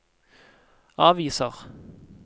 aviser